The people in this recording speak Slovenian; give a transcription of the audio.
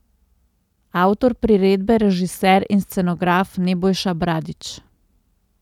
Avtor priredbe, režiser in scenograf Nebojša Bradić.